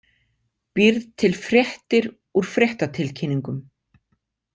Býrð til fréttir úr fréttatilkynningum.